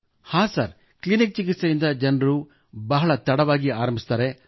ಹಾಂ sir clinical ಚಿಕಿತ್ಸೆಯನ್ನು ಜನರು ಬಹಳ ತಡವಾಗಿ ಆರಂಭಿಸುತ್ತಾರೆ